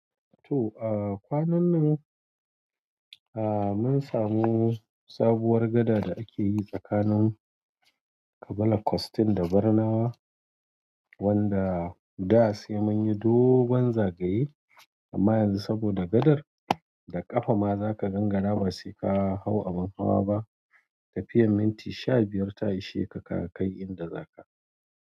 To a kwanan nan a, mun samu sabuwar gada da akeyi tsakanin Kabala Costin da Barnawa, wanda da sai munyi dogon zagaye amma yanzu saboda gadar, da ƙafa ma zaka gangara ba sai ka hau abin hawa ba, tafiyan minti sha biyar ta isheka ka kai inda zaka.